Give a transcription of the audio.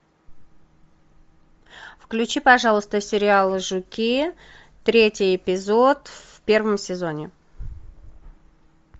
включи пожалуйста сериал жуки третий эпизод в первом сезоне